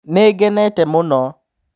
"Nĩngenĩte mũno.